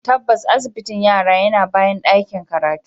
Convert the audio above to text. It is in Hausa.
Tabbas, asibitin yana bayan ɗakin karatu.